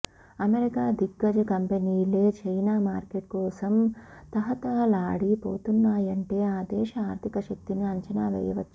America దిగ్గజ కంపెనీలే China market కోసం తహతహలాడి పోతున్నాయంటే ఆ దేశ ఆర్థిక శక్తిని అంచనా వేయ వచ్చు